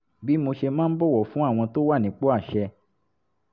bí mo ṣe máa ń bọ̀wọ̀ fún àwọn tó wà nípò àṣẹ